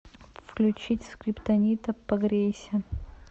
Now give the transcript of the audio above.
включить скриптонита погрейся